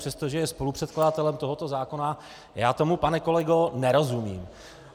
Přestože je spolupředkladatelem tohoto zákona, já tomu, pane kolego, nerozumím.